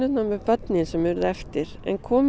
með börnin sem urðu eftir og komu